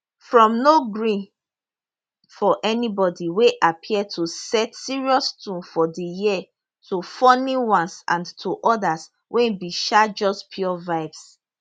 from no gree for anybody wey appear to set serious tone for di year to funny ones and to odas wey be um just pure vibes